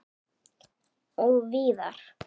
Og víðar.